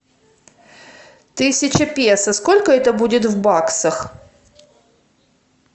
тысяча песо сколько это будет в баксах